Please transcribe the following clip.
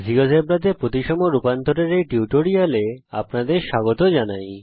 জীয়োজেব্রাতে প্রতিসম রূপান্তরের এই টিউটোরিয়াল এ আপনাদের স্বাগত জানাই